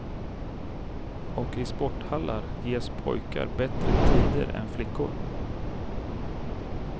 Och i sporthallar ges pojkar bättre tider än flickor.